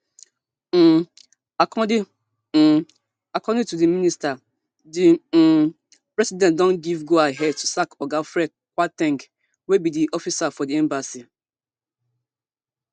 um according um according to di minister di um president don give go ahead to sack oga fred kwar ten g wey be di it officer for di embassy